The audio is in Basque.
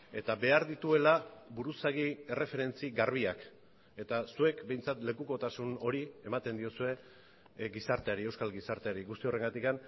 eta behar dituela buruzagi erreferentzia garbiak eta zuek behintzat lekukotasun hori ematen diozue gizarteari euskal gizarteari guzti horregatik